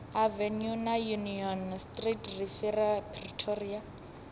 avenue na union street riviera pretoria